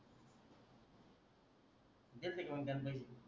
दिलते का मंग त्याने पैसे